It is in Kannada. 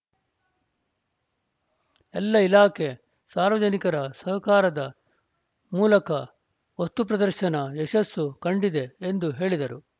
ಎಲ್ಲ ಇಲಾಖೆ ಸಾರ್ವಜನಿಕರ ಸಹಕಾರದ ಮೂಲಕ ವಸ್ತುಪ್ರದರ್ಶನ ಯಶಸ್ಸು ಕಂಡಿದೆ ಎಂದು ಹೇಳಿದರು